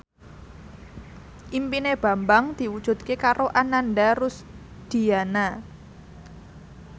impine Bambang diwujudke karo Ananda Rusdiana